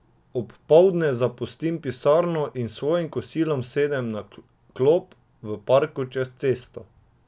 Ob poldne zapustim pisarno in s svojim kosilom sedem na klop v parku čez cesto.